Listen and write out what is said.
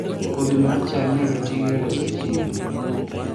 Kodhi mar cham inyalo tigo e loso chiemo